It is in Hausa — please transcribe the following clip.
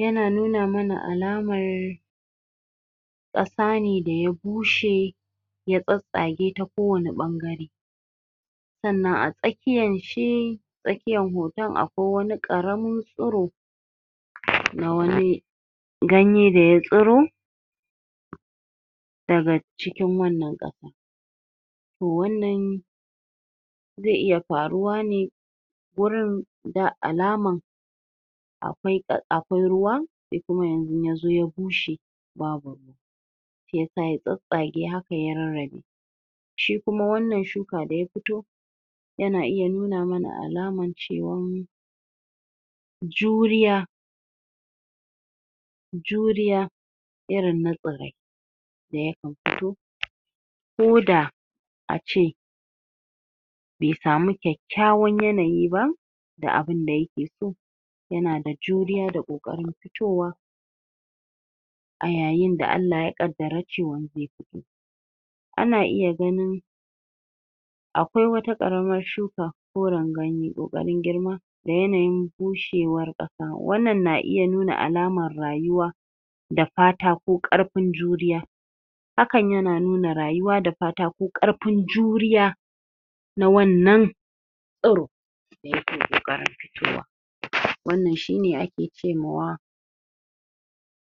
yana nuna mana alamar ƙasa ne da ya bushe ya tsatstsage ta ko wani ɓangare sannan a tsa kiyan ce tsakiyan hoton a kwai wani ƙaramin tsuro na wani ganye da ya tsiro daga cikin wannan ƙasa wannan zai iya faruwa ne wurin da alaman akwai ƙ.. akwai ruwa sai kuma yanzun yazo ya bushe babu yasa ya tsats tsage haka ya rarrabe shi kuma wannan shuka da ya fito yana iya nuna mana alaman ci rani juriya juriya irin na tsirai da ya kan fito ko da a ce bai samu kyak kyawan yanayi ba da abinda yake so yanada juriya da ƙoƙarin fitowa a yayin da Allah ya ƙaddara cewa zai fito ana iya ganin akwai wata ƙaramar shuka koran ganye ƙo ƙarin girma da yanayin bushewar ƙasa sa, wannan na iya nuna alamar rayuwa da fata da fata ko ƙar fin juriya hakan yana nuna rayuwa da fata ko ƙar fin juriya na wannan tsiro da yake ƙoƙarin fitowa wannan shi ne ake ce mawa